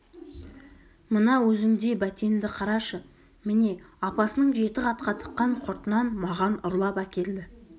мына өзіңдей бәтенді қарашы міне апасының жеті қатқа тыққан құртынан маған ұрлап әкелді